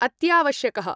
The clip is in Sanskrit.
अत्यावश्यकः।